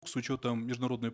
с учетом международной